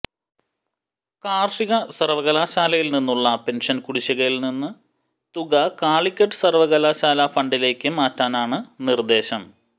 കാർഷിക സർവകലാശാലയിൽനിന്നുള്ള പെൻഷൻ കുടിശ്ശികയിൽനിന്ന് തുക കാലിക്കറ്റ് സർവകലാശാലാ ഫണ്ടിലേക്ക് മാറ്റാനാണ് നിർദ്ദേശം